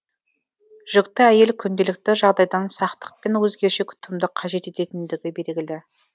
жүкті әйел күнделікті жағдайдан сақтық пен өзгеше күтімді қажет ететіндігі белгілі